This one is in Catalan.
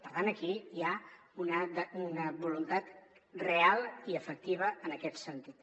per tant aquí hi ha una voluntat real i efectiva en aquest sentit